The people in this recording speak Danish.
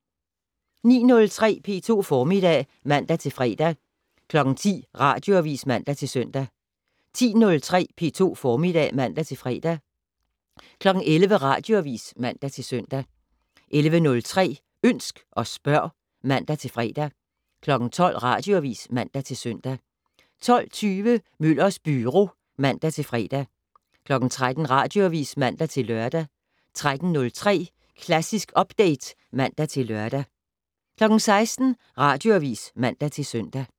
09:03: P2 Formiddag (man-fre) 10:00: Radioavis (man-søn) 10:03: P2 Formiddag (man-fre) 11:00: Radioavis (man-søn) 11:03: Ønsk og spørg (man-fre) 12:00: Radioavis (man-søn) 12:20: Møllers Byro (man-fre) 13:00: Radioavis (man-lør) 13:03: Klassisk Update (man-lør) 16:00: Radioavis (man-søn)